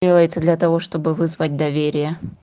делается для того чтобы вызвать доверие